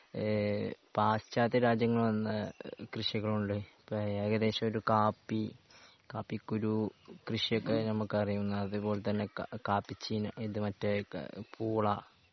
ഏഹ് പാശ്ചാത്യരാജ്യങ്ങള്ന്ന് കൃഷികൾ ഉണ്ട് ഇപ്പോ ഏകദേശം ഒരു കാപ്പി കാപ്പിക്കുരു കൃഷിയൊക്കെ നമുക്ക് അറിയും അതുപോലെ തന്നെ ക കാപ്പിചീന ഇത് മറ്റേ ക പൂള